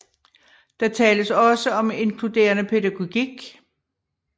Der tales også om inkluderende pædagogik